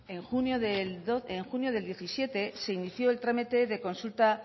en junio del dos mil diecisiete se inició el trámite de consulta